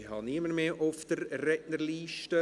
Ich habe niemanden mehr auf der Rednerliste.